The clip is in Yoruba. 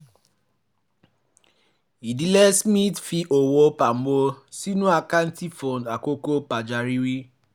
ìdílé smith fi owó pamọ́ sínú àkáǹtì fún àkókò pàjáwìrì